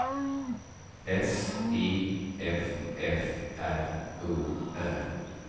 S I F F R O R